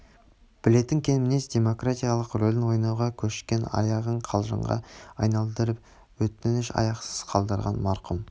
білетін кең мінез демократтың рөлін ойнауға көшкен аяғын қалжыңға айналдырып өтншн аяқсыз қалдырған марқұм